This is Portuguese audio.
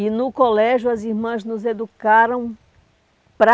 E no colégio as irmãs nos educaram para